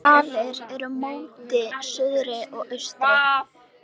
Svalir eru móti suðri og austri.